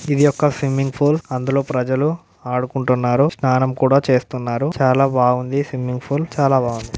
ఇది ఒక swimming pool అందులో ప్రజలు ఆడుకుంటున్నారు స్నానం కూడా చేస్తున్నారు చాలా బాగుంది స్విమ్మింగ్ పూల్ చాలా బాగుంది